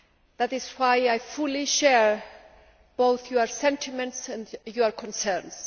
That is why I fully share both your sentiments and your concerns.